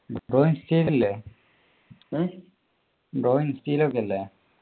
ഇപ്പൊ ഇൻസ്റ്റയിൽ ഇല്ലേ ബ്രോ ഇൻസ്റ്റായിലൊക്കെ ഇല്ലേ